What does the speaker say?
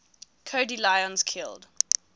cody lyons killed